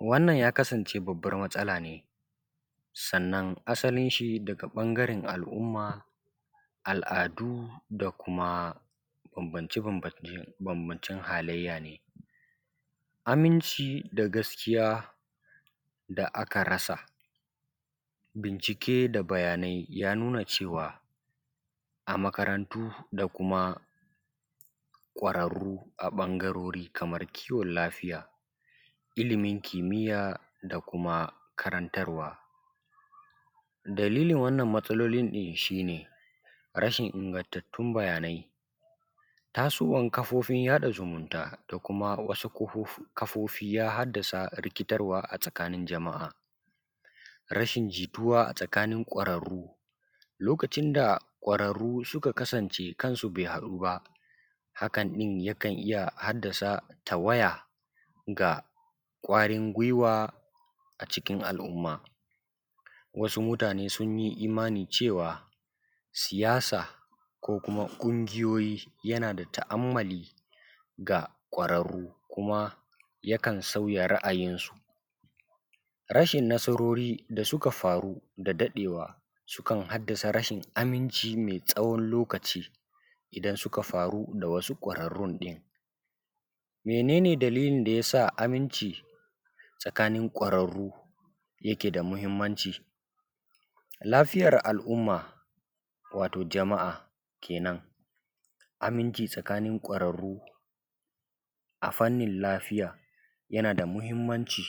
wannan ya kasance babbar matsala ne sannan asalinshi daga ɓangaren al’umma al’adu da kuma bambance bambancen halayya ne aminci da gaskiya da aka rasa bincike da bayanai ya nuna cewa a makarantu da kuma ƙwararru a ɓangarori kamar kiwon lafiya ilimin kimiyya da kuma karantarwa dalilin wannan matsalolin ɗin shi ne rashin ingantattun bayanai tasowan kafofin jaɗa zumunta da kuma wasu kafofi ya haddasa rikitarwa a tsakanin jama’a rashin jituwa a tsakanin ƙwararru lokacin da ƙwararru suka kasance kansu bai haɗu ba hakan ɗin yakan iya haddasa tawaya ga ƙwarin gwiwa a cikin al’umma wasu mutane sun yi imani cewa siyasa ko kuma ƙungiyoyi yana da ta’ammali ga ƙwararru kuma yakan sauya ra’ayinsu rashin nasarori da suka faru da daɗewa sukan haddasa rashin aminci mai tsayin lokaci idan suka faru da wasu ƙwararrun ɗin mene ne dalilin da ya sa aminci: tsakanin ƙwararru yake da muhimmanci: lafiyar al’umma wato jama’a kenan aminci tsakanin ƙwararru a fannin lafiya yana da muhimmanci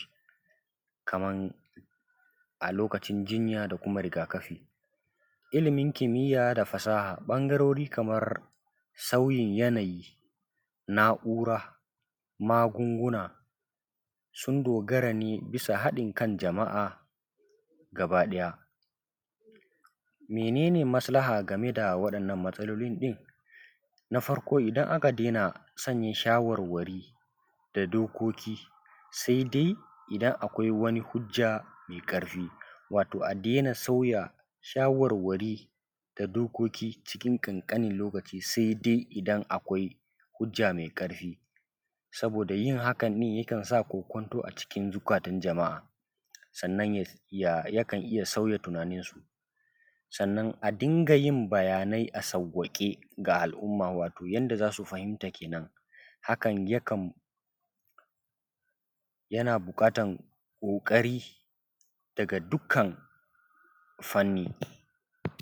kaman a lokacin jinya da kuma rigakafi ilimin kimiyya da fasaha ɓangarori kamar tauye yanayi na’ura magunguna sun dogara ne bisa haɗin kan jama’a baki ɗaya mene ne maslaha ga waɗannan matsalolin ɗin na farko idan aka daina sauye shawarwari da dokoki sai dai idan akwai wani hujja mai ƙarfi wato a daina sauya shawarwari da dokoki cikin ƙanƙanin lokaci sai dai idan akwai hujja mai ƙarfi saboda yin hakan ɗin yakan sanya kokwanto a zukatan jama’a sannan yakan iya sauya tunaninsu sannan a dinga yin bayanai a sawwaƙe ga al’umma wato yanda za su fahimta kenan hakan yakan yana buƙatan ƙoƙari daga dukkan fanni